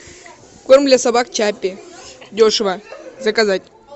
корм для собак чаппи дешево заказать